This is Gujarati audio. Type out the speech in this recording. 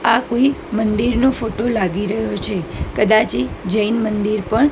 આ કોઈ મંદિરનો ફોટો લાગી રહ્યો છે કદાચે જૈન મંદિર પણ--